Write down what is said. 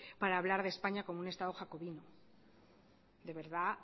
para hablar de españa como un estado jacobino de verdad